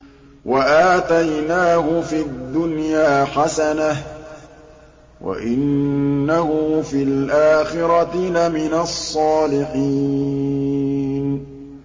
وَآتَيْنَاهُ فِي الدُّنْيَا حَسَنَةً ۖ وَإِنَّهُ فِي الْآخِرَةِ لَمِنَ الصَّالِحِينَ